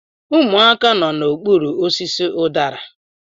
Ụmụaka nọ n'okpuru osisi udara